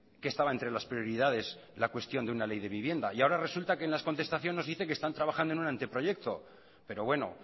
que estaba entre las prioridades la cuestión de una ley de vivienda y ahora resulta que en la contestación nos dice que están trabajando en un anteproyecto pero bueno